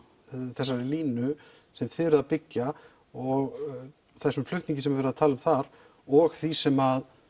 þessari línu sem þið eruð að byggja og þessum flutningi sem er verið að tala um þar og því sem